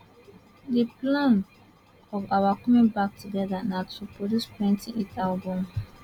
di plan of our coming back together na to produce plenty hit albums